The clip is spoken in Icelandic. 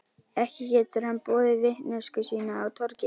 Ekki getur hann borið vitneskju sína á torg.